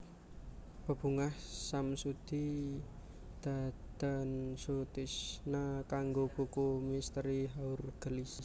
Bebungah Samsudi Dadan Sutisna kanggo buku Misteri Haur Geulis